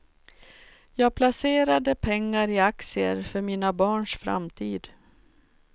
Jag placerade pengar i aktier för mina barns framtid.